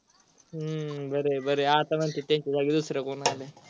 हम्म बर आहे बर आहे आता त्यांचा जागी दूसर कोणी आलं.